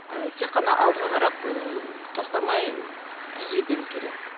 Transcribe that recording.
тек қана алдыға қарап ыыы тоқтамай ы жүзе беру керек